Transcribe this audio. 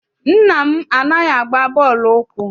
Nna m anaghị agba bọọlụ ụkwụ.